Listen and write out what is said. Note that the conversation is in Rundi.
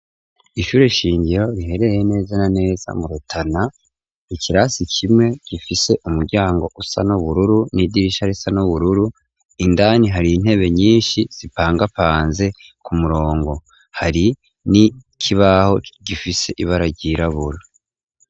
Ishure shingiro rihereye neza na neza mu rutana, ikirasi kimwe gifise umuryango usa n'ubururu n'idirisha risa nubururu indani hari intebe nyinshi zipangapanze ku murongo hari n'ikibaho gifise ibara ryirabura.